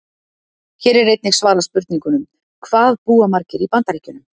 Hér er einnig svarað spurningunum: Hvað búa margir í Bandaríkjunum?